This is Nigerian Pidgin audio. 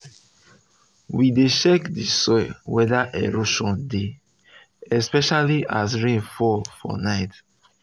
we dey um check the soil wether erosion dey especially as um rain um fall for night